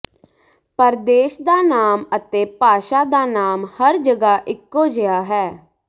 ਪਰ ਦੇਸ਼ ਦਾ ਨਾਮ ਅਤੇ ਭਾਸ਼ਾ ਦਾ ਨਾਮ ਹਰ ਜਗ੍ਹਾ ਇਕੋ ਜਿਹਾ ਹੈ